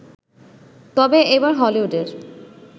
তবে এবার হলিউডের